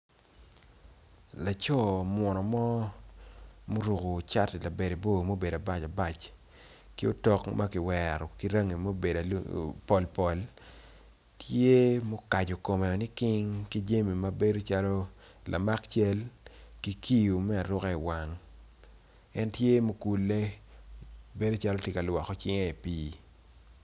Laco muno mo ma oruko cati labadebor tye ma okaco kome woko liking tye ma okulle tye calo tye ka lwoko cinge i pii.